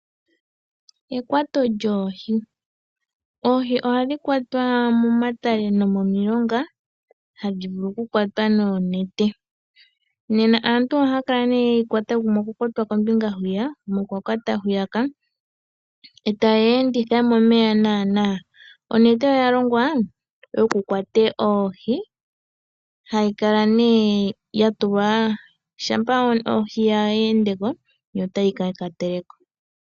Ekwato lyoohi, oohi ohadhi kwatwa momatale nomomilonga, hadhi vulu okukwatwa noonete. Nena aantu ohaya kala nee ye yikwata gumwe okwa kwata kombinga hwiya yegumwe okwa kwata hwiya ka eta ye yi enditha momeya naanaa. Onete oya longwa wokukwata oohi hayi kala nee yatulwa shampa ohi ya endeko, yo otayi ka kateleko.